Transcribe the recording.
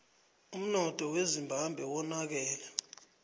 umnotho wezimbabwe wonakele